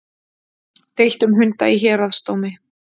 Deilt um hunda í héraðsdómi